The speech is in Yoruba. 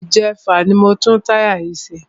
Ìjẹfà ni mo tún táyà yìí ṣe.